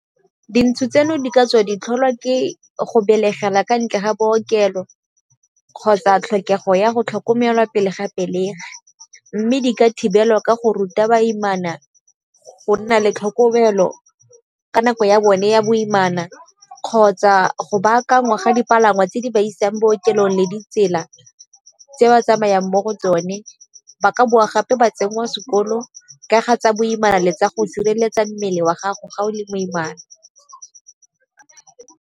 Dintsho tseno di ka tswa ditlholwa ke go belegela kwa ntle ga bookelo kgotsa tlhokego ya go tlhokomelwa pele ga pelegi. Mme di ka thibelwa ka go ruta baimana go nna le tlhokomelo ka nako ya bone ya boimana, kgotsa go baakangwa ga dipalangwa tse di ba isang bookelong le ditsela tse ba tsamayang mo go tsone. Ba ka bowa gape ba tsenngwa sekolo ka ga tsa boimana le tsa go sireletsa mmele wa gago ga o le moimana.